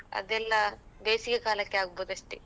ಅದೆಲ್ಲ ಬೇಸಿಗೆ ಕಾಲಕ್ಕೆ ಆಗ್ಬೋದಷ್ಟೆ.